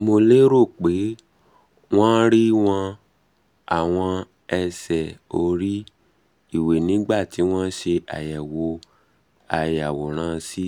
mo lérò pé wón rí wón rí àwọn ẹsẹ́ orí-iwe nígbà tí wọ́n ń ṣe àyẹ̀wò ayàwòrán ct